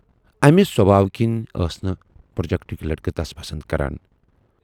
امہِ سۅبھاوٕ کِنۍ ٲس نہٕ پروجکٹٕکۍ لٔڑکہٕ تَس پسند کران۔